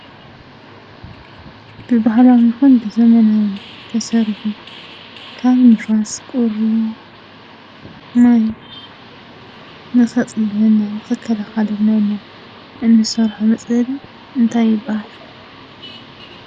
ብባህላዊ ይኹን ብዘመናዊ ዝተሰርሑ ካብ ንፋስ፣ ቁሪ ማይን ንኸፅልለና ንኽከላኸለልና ኢልና እንሰርሖ መፅለሊ እንታይ ይባሃል?